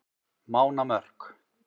Mánamörk